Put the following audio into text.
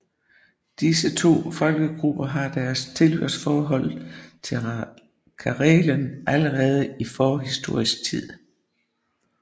Disse to folkegrupper har deres tilhørsforhold til Karelen allerede i forhistorisk tid